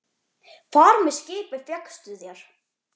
Far með skipi fékkstu þér.